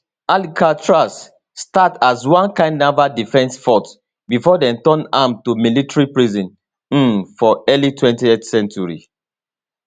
alcatraz start as one kain naval defence fort before dem turn am to military prison um for early 20th century